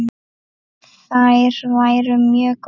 Þær væru mjög góðar.